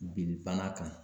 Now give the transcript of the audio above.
Bili bana kan